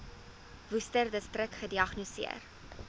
worcesterdistrik gediagnoseer